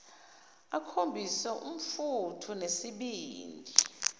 akhombise umfutho nesibindi